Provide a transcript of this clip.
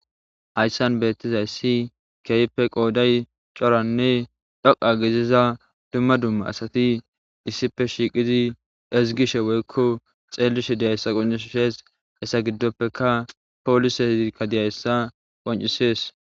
hayssan beettizayssi kehipe qooday coranne dhoqa giziza dumma dumma asati issipe shiiqizi ezigishe woykko xeelishe diyayssa qoncishshees hessa giddoppeka poolisezikka diyayssa qoncisees